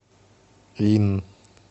линн